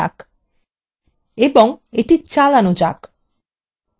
এবং এটি চালানো যাক